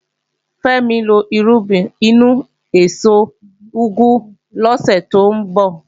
Fẹ́mi ń lọ irúgbìn inú èso úgú lọ́sẹ̀ tó ń bọ̀